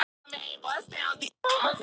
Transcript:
Þetta skýtur svolítið skökku við.